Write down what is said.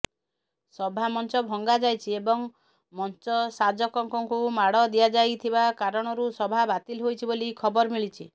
ସଭାମଞ୍ଚ ଭଙ୍ଗାଯାଇଛି ଏବଂ ମଞ୍ଚସାଜକଙ୍କୁ ମାଡ଼ ଦିଆଯାଇ ଥିବା କାରଣରୁ ସଭା ବାତିଲ ହୋଇଛି ବୋଲି ଖବର ମିଳିଛି